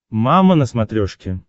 мама на смотрешке